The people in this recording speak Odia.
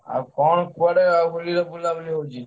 ଆଉ କଣ କୁଆଡେ ଆଉ ହୋଲିରେ ବୁଲାବୁଲି ହଉଛି?